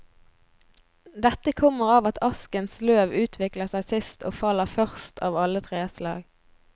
Dette kommer av at askens løv utvikler seg sist og faller først av alle treslag.